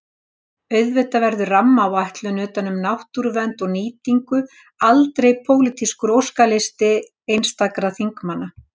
Auðvitað verður rammaáætlun utan um náttúruvernd og nýtingu aldrei pólitískur óskalisti einstakra þingmanna.